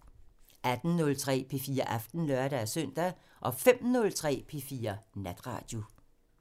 18:03: P4 Aften (lør-søn) 05:03: P4 Natradio